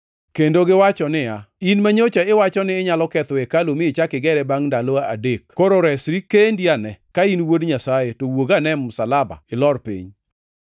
kendo giwacho niya, “In manyocha iwacho ni inyalo ketho hekalu mi ichak igere bangʼ ndalo adekni, koro resri kendi ane! Ka in wuod Nyasaye to wuog ane e msalaba ilor piny!”